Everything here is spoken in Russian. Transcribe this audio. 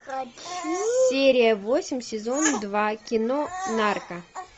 серия восемь сезон два кино нарко